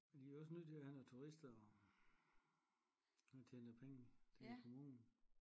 Men de er også nødt til at have nogle turister og der tjener penge til kommunen